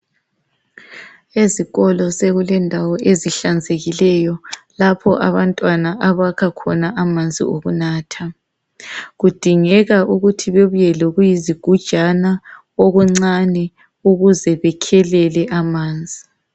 Ezikolo sekulendawo ezihlanzekileyo lapha abantwana abakhakhona amanzi okunatha kudingeka ukuthi bebuye lokuyizigujana okuncane ukuze bekhelele amanzi